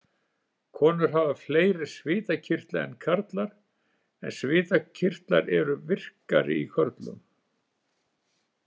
Konur hafa fleiri svitakirtla en karlar en svitakirtlar eru virkari í körlum.